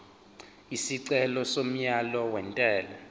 isicelo somyalo wentela